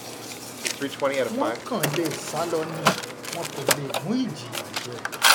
wọ́n kàn lè sá lọ ni wọn kò lè mú ìjìyà jẹ